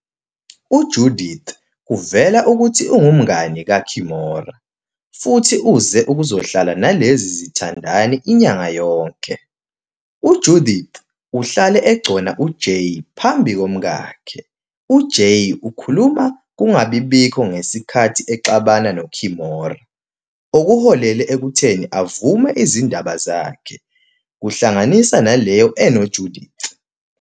UJudith kuvela ukuthi ungumngani kaKimora, futhi uze ukuzohlala nalezi zithandani inyanga yonke. UJudith uhlale egcona uJay phambi komkakhe. UJay ukhuluma kungabi bikho ngesikhathi exabana noKimora, okuholele ekutheni avume izindaba zakhe, kuhlanganisa naleyo enoJudith.